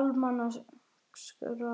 almanaksári?